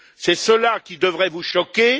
C'est cela qui devrait vous choquer.